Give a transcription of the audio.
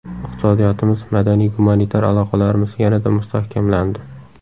Iqtisodiyotimiz, madaniy-gumanitar aloqalarimiz yanada mustahkamlandi.